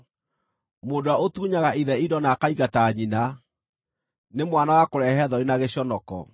Mũndũ ũrĩa ũtunyaga ithe indo na akaingata nyina, nĩ mwana wa kũrehe thoni na gĩconoko.